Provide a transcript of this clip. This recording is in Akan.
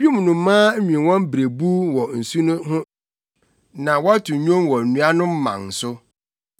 Wim nnomaa nwen wɔn berebuw wɔ nsu no ho; na wɔto nnwom wɔ nnua no mman so.